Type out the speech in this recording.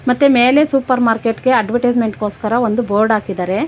ಮತ್ತೆ ಮೇಲೆ supermarket ಗೆ ಅಡ್ವಟೈಸ್ಮೆಂಟ್ ಗೋಸ್ಕರ ಒಂದು ಬೋರ್ಡ್ ಹಾಕಿದರೆ.